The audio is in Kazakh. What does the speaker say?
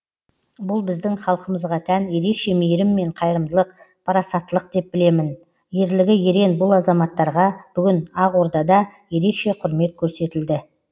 бұл біздің халқымызға тән ерекше мейірім мен қайырымдылық парасаттылық деп білемін ерлігі ерен бұл азаматтарға бүгін ақордада ерекше құрмет көрсетілді